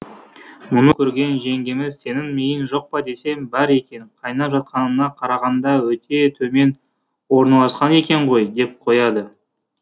мұны көрген жеңгеміз сенің миың жоқ па десем бар екен қайнап жатқанына қарағанда өтее төмен орналасқан екен ғой деп қояды